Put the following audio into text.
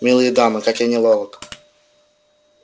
милые дамы как я неловок